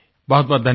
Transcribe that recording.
बहुतबहुत धन्यवाद